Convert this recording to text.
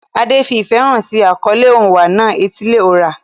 Ade fi ìfẹ́ hàn sí àkọlé Onwa-na-etili-ora.